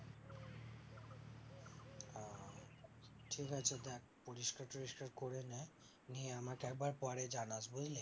ঠিক আছে দেখ পরিস্কার টরিস্কার করে নে নিয়ে আমাকে একবার পরে জানাস বুঝলি